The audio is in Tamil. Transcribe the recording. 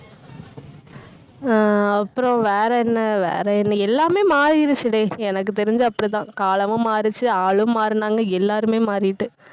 அஹ் அப்புறம் வேற என்ன வேற என்ன எல்லாமே மாறிடுச்சுடே எனக்கு தெரிஞ்சு அப்படித்தான். காலமும் மாறிடுச்சு ஆளும் மாறினாங்க எல்லாருமே மாறிட்டு.